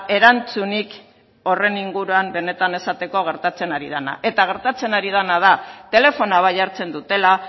erantzunik horren inguruan benetan esateko gertatzen ari dena eta gertatzen ari dena da telefonoa bai hartzen dutela